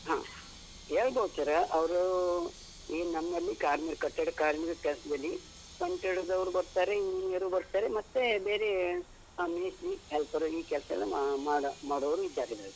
ಹ. ಹೇಳ್ಬೋದ್ sir ಅವ್ರು ಈ ನಮ್ಮಲ್ಲಿ ಕಾರ್ಮಿ ಕಟ್ಟಡ ಕಾರ್ಮಿಕ ಕೆಲ್ಸದಲ್ಲಿ ಪಂಚೆ ಉಡುದವ್ರೂ ಬರ್ತಾರೆ, engineer ಬರ್ತಾರೆ, ಮತ್ತೆ ಬೇರೆ ಮೇಸ್ತ್ರಿ ಹೆಲ್ಪರ್ ಈ ಕೆಲ್ಸ ಎಲ್ಲ ಮಾ ಮಾಡುವವರು ಇದ್ದಾರೆ ಇದರಲ್ಲಿ.